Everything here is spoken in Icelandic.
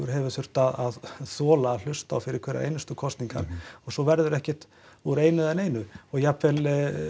hefur þurft að þola að hlusta á fyrir hverjar einustu kosningar og svo verður ekkert úr einu eða neinu og jafnvel